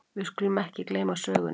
Við skulum ekki gleyma sögunni!